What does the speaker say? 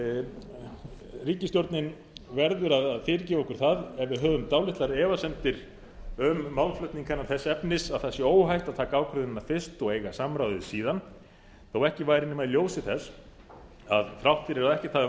tekin ríkisstjórnin verður að fyrirgefa okkur það ef við höfum dálitlar efasemdir um málflutning hennar þess efnis að það sé óhætt að taka ákvörðunina fyrst og eiga samráðið síðan þó ekki væri nema í ljósi þess að þrátt fyrir að ekkert hafi vantað